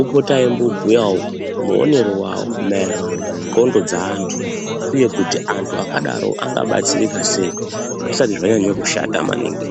opota eimbobhuyavo muonero vavo maererano nendxondo dzeantu, uye kuti antu akadaro angabatsirika sei zvisati zvanyanya kushata maningi.